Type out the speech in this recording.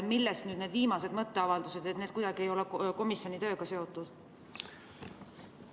Millest nüüd need viimased mõtteavaldused, need ei ole kuidagi komisjoni tööga seotud?